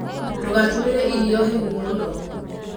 Ndũgatũmĩre irio hehu mũno.